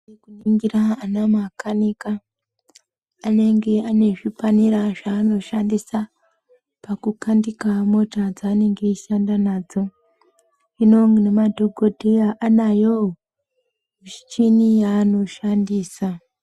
Ningira ana makanika anenge ane zvipanera zvanoshandisa pakukandike mota dzaanenge eishanda nadzo. Hino nemadhokodheya anayowo michini yanoshandisa.